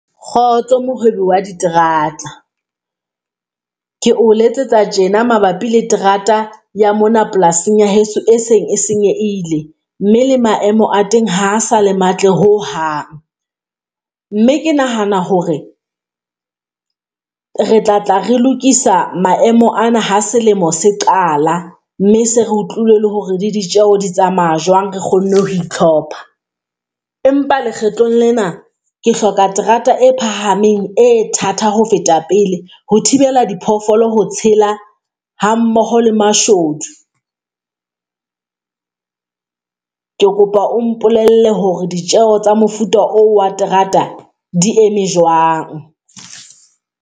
Kgotso Mohwebi wa diterata, ke o letsetsa tjena mabapi le terata ya mona polasing ya heso, e seng e senyehile, mme le maemo a teng ha sa le matla ho hang, mme ke nahana hore re tla tla re lokisa maemo ana ha selemo se qala mme se re utlwile le hore di ditjeo di tsamaya jwang. Re kgonne ho itlhopha. Empa lekgetlong lena ke hloka terata e phahameng e thata ho feta pele ho thibela diphoofolo ho tshela hammoho le mashodu. Ke kopa o mpolelle hore ditjeo tsa mofuta oo wa terata di eme jwang.